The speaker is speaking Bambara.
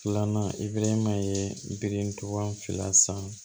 Filanan i belelema ye bilentɔn fila san